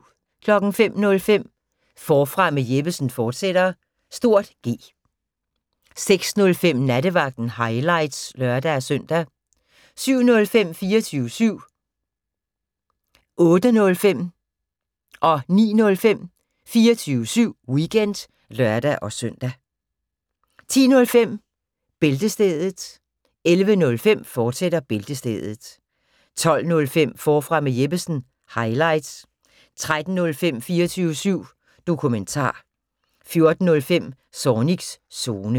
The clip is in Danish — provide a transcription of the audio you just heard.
05:05: Forfra med Jeppesen fortsat (G) 06:05: Nattevagten – highlights (lør-søn) 07:05: 24syv Weekend (lør-søn) 08:05: 24syv Weekend (lør-søn) 09:05: 24syv Weekend (lør-søn) 10:05: Bæltestedet 11:05: Bæltestedet, fortsat 12:05: Forfra med Jeppesen – highlights 13:05: 24syv Dokumentar 14:05: Zornigs Zone